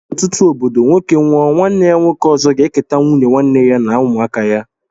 N' ọtụtụ obodo nwoke nwụọ nwanne ya nwoke ọzọ ga eketa nwụnye nwanne ya na ụmụaka ya.